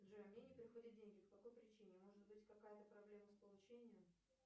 джой мне не приходят деньги по какой причине может быть какая то проблема с получением